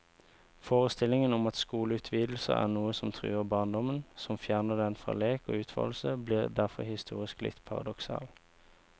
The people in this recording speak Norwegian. Forestillingen om at skoleutvidelser er noe som truer barndommen, som fjerner den fra lek og utfoldelse, blir derfor historisk litt paradoksal.